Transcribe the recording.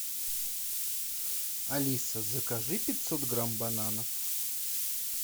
алиса закажи пятьсот грамм бананов